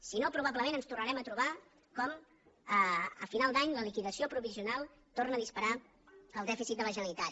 si no probablement ens tornarem a trobar que a final d’any la liquidació provisional torna a disparar el dèficit de la generalitat